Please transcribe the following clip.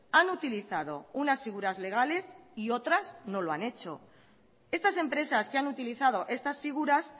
han utilizado unas figuras legales y otras no lo han hecho estas empresas que han utilizado estas figuras